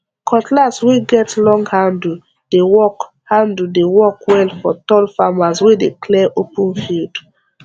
cutlass wey get long handle dey work handle dey work well for tall farmers wey dey clear open field